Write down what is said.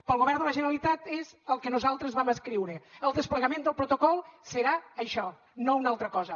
pel govern de la generalitat és el que nosaltres vam escriure el desplegament del protocol serà això no una altra cosa